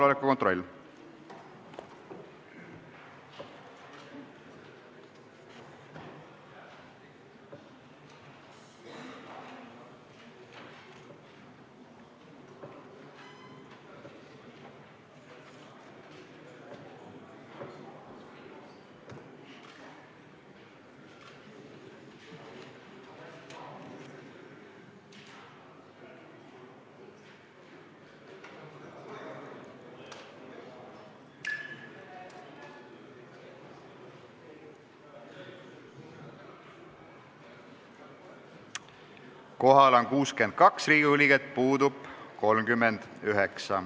Kohaloleku kontroll Kohal on 62 Riigikogu liiget, puudub 39.